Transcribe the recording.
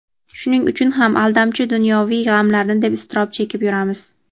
Shuning uchun ham aldamchi dunyoviy g‘amlarni deb iztirob chekib yuramiz.